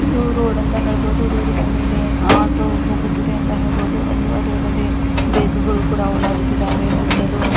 ಇದು ರೋಡ್ ಅಂತಾ ಹೇಳ್ಬಹುದು ರೋಡಿನ ಮೇಲೇ ಆಟೋ ಹೋಗುತಿದೆ ಅಂತಾ ಹೇಳ್ಬಹುದು ಅದು ಅಲ್ಲದೆ ಬೈಕ್ ಗಳು ಕೂಡ ಓಡಾಡುತಿದಾವೆ ಸುತ್ತಲು .